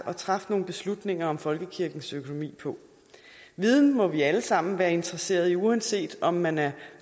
at træffe nogle beslutninger om folkekirkens økonomi på viden må vi alle sammen være interesserede i uanset om man er